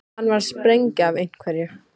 Hann var að springa af einhverju.